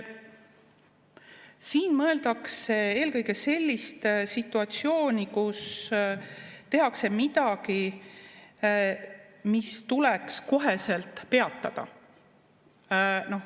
Siin mõeldakse eelkõige sellist situatsiooni, kus tehakse midagi, mis tuleks koheselt peatada.